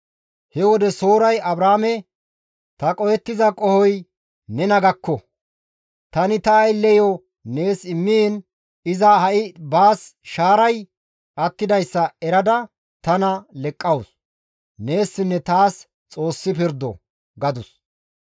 He wode Sooray Abraame, «Ta qohettiza qohoy nena gakko; tani ta aylleyo nees immiin iza ha7i baas shaaray attidayssa erada tana leqqawus. Neessinne taas Xoossi pirdo» gadus.